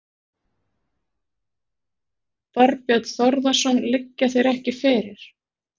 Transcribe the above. Þorbjörn Þórðarson: Liggja þeir ekki fyrir?